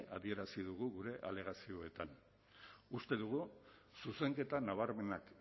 adierazi dugu gure alegazioetan uste dugu zuzenketa nabarmenak